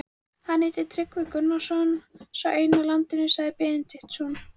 Hann heitir Tryggvi Gunnarsson, sá eini á landinu, sagði Benediktsson.